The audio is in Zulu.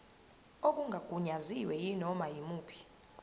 okungagunyaziwe kunoma yimuphi